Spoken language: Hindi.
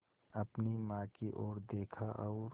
अपनी माँ की ओर देखा और